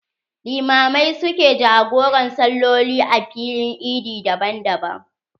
Limamai su ke jagoran saloli a filin eid daban daban.